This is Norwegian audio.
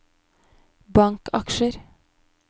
bankaksjer